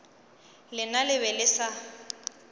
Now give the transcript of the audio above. lena le be le sa